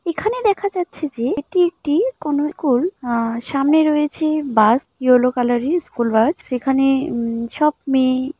এখানে দেখা যাচ্ছে যে এটি একটি কোন স্কুল আ সামনে রয়েছে bus yellow colour school bus সেখানে উম সব মেয়ে--